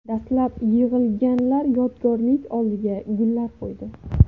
Dastlab yig‘ilganlar yodgorlik oldiga gullar qo‘ydi.